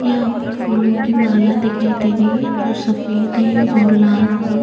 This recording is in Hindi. यहाँ पर फूलों की माला दिखाई दे रही है जो सफ़ेद है और लाल फूल --